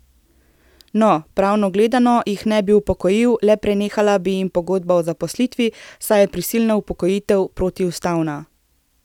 No, pravno gledano jih ne bi upokojil, le prenehala bi jim pogodba o zaposlitvi, saj je prisilna upokojitev protiustavna.